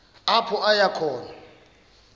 apho aya khona